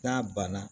N'a banna